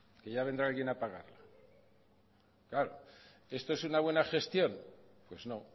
que ya vendrá alguien a pagarla claro esto es una buena gestión pues no